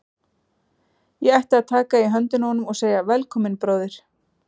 Ég ætti að taka í höndina á honum og segja: Velkominn, bróðir.